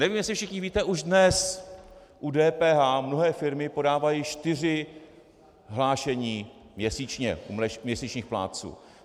Nevím, jestli všichni víte, už dnes u DPH mnohé firmy podávají čtyři hlášení měsíčně, u měsíčních plátců.